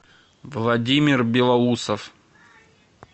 владимир белоусов